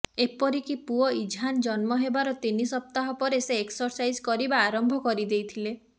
ଏପରିକି ପୁଅ ଇଜହାନ ଜନ୍ମ ହେବାର ତିନି ସପ୍ତାହ ପରେ ସେ ଏକ୍ସରସାଇଜ୍ କରିବା ଆରମ୍ଭ କରିଦେଇଥିଲେ